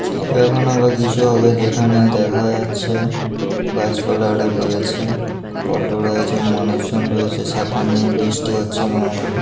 এখানে বা কিছু হবে যেখানে দেখা যাচ্ছে গাছপালা রয়েছে অটো রয়েছে মানুষজন রয়েছে ছাতা নিয়ে বৃষ্টি হচ্ছে না মনে হয়।